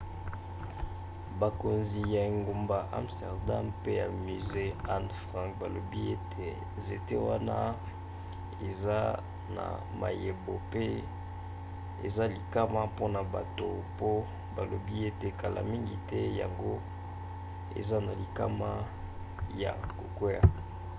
bakonzi ya engumba amsterdam pe ya musée anne frank balobi ete nzete wana eza na mayebo pe eza likama mpona bato mpo balobi ete kala mingi te yango eza na likama ya kokwea